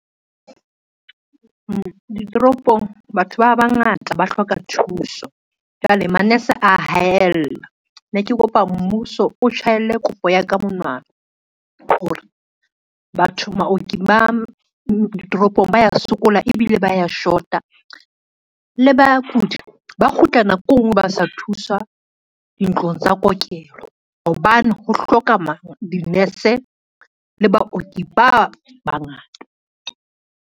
Ditoropong batho ba bangata ba hloka thuso. Jwale manese a haella, ne ke kopa mmuso o tjhaelle kopo ya ka monwana hore, baoki ba ditoropong ba ya sokola ebile ba ya shota, le bakudi ba kgutla nako e ngwe ba sa thuswa dintlong tsa kokelo, hobane ho hloka di-nurse le baoki ba bangata.